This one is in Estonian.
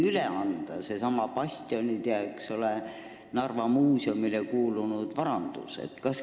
Needsamad bastionid on ju Narva Muuseumile kuulunud vara.